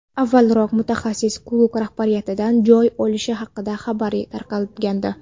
Avvalroq mutaxassis klub rahbariyatidan joy olishi haqida xabarlar tarqalgandi.